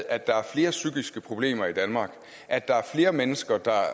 at der er flere psykiske problemer i danmark at der er flere mennesker der har